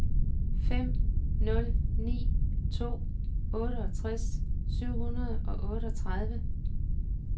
fem nul ni to otteogtres syv hundrede og otteogtredive